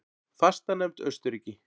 Fastanefnd Austurríki